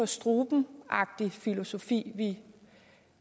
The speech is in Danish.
struben agtig filosofi vi